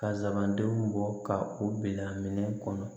Ka zabandenw bɔ ka u bila minɛn kɔnɔ